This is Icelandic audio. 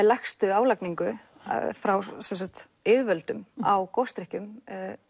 lægstu álagningu frá yfirvöldum á gosdrykkjum